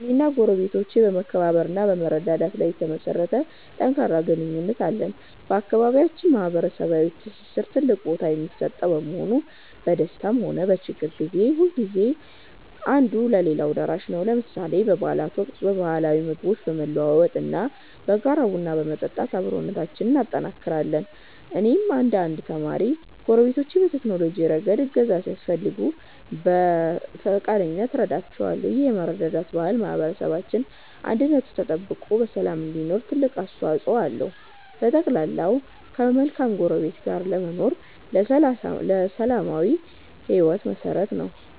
እኔና ጎረቤቶቼ በመከባበር እና በመረዳዳት ላይ የተመሠረተ ጠንካራ ግንኙነት አለን። በአካባቢያችን ማኅበራዊ ትስስር ትልቅ ቦታ የሚሰጠው በመሆኑ፣ በደስታም ሆነ በችግር ጊዜ ሁልጊዜም አንዱ ለሌላው ደራሽ ነው። ለምሳሌ በበዓላት ወቅት ባህላዊ ምግቦችን በመለዋወጥ እና በጋራ ቡና በመጠጣት አብሮነታችንን እናጠናክራለን። እኔም እንደ አንድ ተማሪ፣ ጎረቤቶቼ በቴክኖሎጂ ረገድ እገዛ ሲፈልጉ በፈቃደኝነት እረዳቸዋለሁ። ይህ የመረዳዳት ባህል ማኅበረሰባችን አንድነቱ ተጠብቆ በሰላም እንዲኖር ትልቅ አስተዋፅኦ አለው። በጠቅላላው፣ ከመልካም ጎረቤት ጋር መኖር ለሰላማዊ ሕይወት መሠረት ነው።